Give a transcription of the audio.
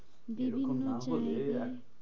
এরককম দিদি না হলে বলছে এক